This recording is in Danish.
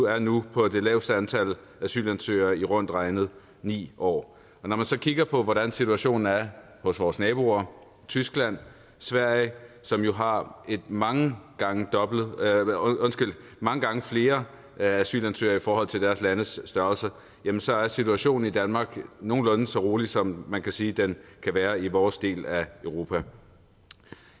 er nu på det laveste antal asylansøgere i rundt regnet ni år når man så kigger på hvordan situationen er hos vores naboer tyskland sverige som jo har mange gange mange gange flere asylansøgere i forhold til deres landes størrelse så er situationen i danmark nogenlunde så rolig som man kan sige den kan være i vores del af europa